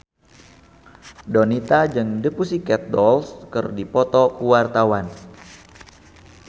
Donita jeung The Pussycat Dolls keur dipoto ku wartawan